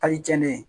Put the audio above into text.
Kayi jɛlen